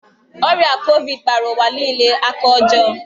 Ọrịa Kovid kpara ụwa niile aka ọjọọ.